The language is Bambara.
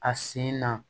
A sen na